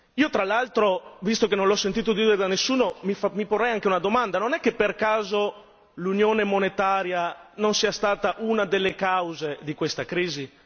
Io tra l'altro, visto che non l'ho sentito dire da nessuno, mi porrei anche una domanda non è che per caso l'Unione monetaria non sia stata una delle cause di questa crisi?